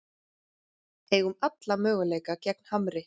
Eigum alla möguleika gegn Hamri